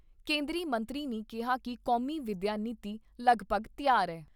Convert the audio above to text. ਕੇਂਦਰੀ ਮੰਤਰੀ ਨੇ ਕਿਹਾ ਕਿ ਕੌਮੀ ਵਿਦਿਆ ਨੀਤੀ ਲਗਭਗ ਤਿਆਰ ਏ।